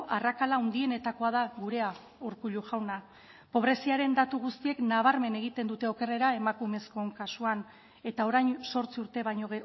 arrakala handienetakoa da gurea urkullu jauna pobreziaren datu guztiek nabarmen egiten dute okerrera emakumezkoen kasuan eta orain zortzi urte baino